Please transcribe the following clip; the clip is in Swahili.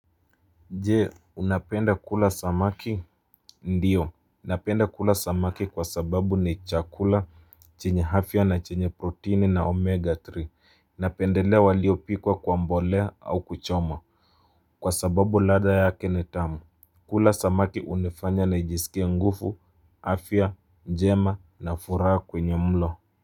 Je, unapenda kula samaki ndiyo Napenda kula samaki kwa sababu ni chakula chenye afya na chenye proteini na omega 3 Napendelea waliopikwa kwa mbolea au kuchoma Kwa sababu ladha yake ni tamu kula samaki unifanya na nijisikie nguvu, afya, njema na furaha kwenye mlo.